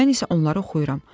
Mən isə onları oxuyuram.